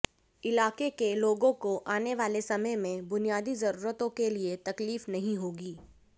इलाके के लोगों को आने वाले समय में बुनियादी जरूरतों के लिए तकलीफ नहीं होगी